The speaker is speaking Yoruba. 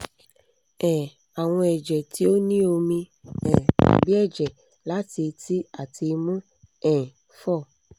um awọn ẹjẹ ti o ni omi um tabi ẹjẹ lati eti ati imu um 4